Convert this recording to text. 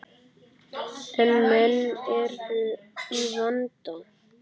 En menn eru í vanda.